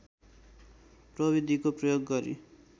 प्रविधिको प्रयोग गरी